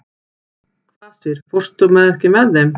Kvasir, ekki fórstu með þeim?